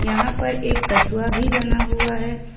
यहां पर एक कछुआ भी बना हुआ है।